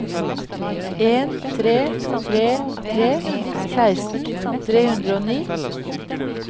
en tre tre tre seksten tre hundre og ni